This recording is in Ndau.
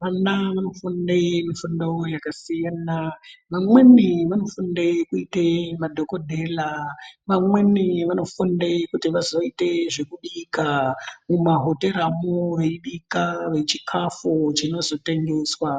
vana vanofunde fundo yakasiyana, vamweni vanofunde kuite madhogodhera. Vamweni vanofunde kuti vazoite zvekubika mumahoteramo veibika chikafu chinozotengeswa.